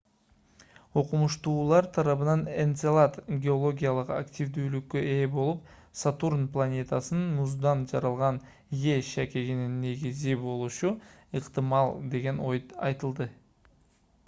окумуштуулар тарабынан энцелад геологиялык активдүүлүккө ээ болуп сатурн планетасынын муздан жаралган е шакегинин негизи болушу ыктымал деген ой айтылды